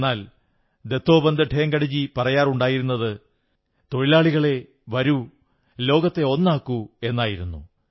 എന്നാൽ ദത്തോപന്ത് ഠേംഗഡി പറയാറുണ്ടായിരുന്നത് തൊഴിലാളികളേ വരൂ ലോകത്തെ ഒന്നാക്കൂ എന്നായിരുന്നു